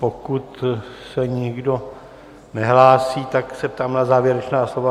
Pokud se nikdo nehlásí, tak se ptám na závěrečná slova.